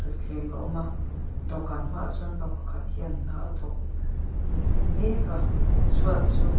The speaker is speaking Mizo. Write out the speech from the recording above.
thleng a awm a dawhkan hmaah chuan pa pakhat hian hna a thawk mêk a chhuat chu--